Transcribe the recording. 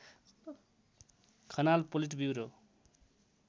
Khanal politburo